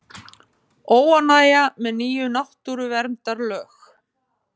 Óánægja með ný náttúruverndarlög